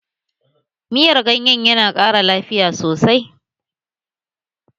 Miyar ganye yana ƙara lafiya sosai